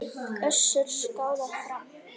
Össuri skákað fram.